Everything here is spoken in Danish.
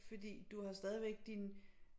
Fordi du har stadigvæk din